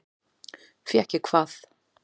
Fékk ég hvað?